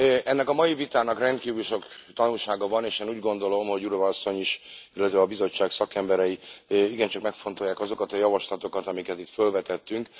Ennek a mai vitának rendkívül sok tanulsága van, és én úgy gondolom, hogy Jourová asszony is, illetve a Bizottság szakemberei igencsak megfontolják azokat a javaslatokat, amiket itt fölvetettünk.